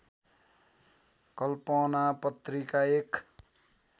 कल्पना पत्रिका एक